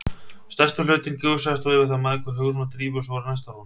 Stærsti hlutinn gusaðist þó yfir þær mæðgur, Hugrúnu og Drífu, sem voru næstar honum.